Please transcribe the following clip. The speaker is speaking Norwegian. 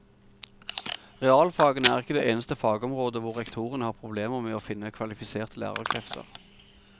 Realfagene er ikke det eneste fagområdet hvor rektorene har problemer med å finne kvalifiserte lærerkrefter.